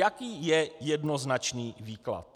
Jaký je jednoznačný výklad?